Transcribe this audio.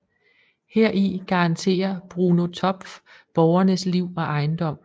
Heri garanterer Bruno Topff borgernes liv og ejendom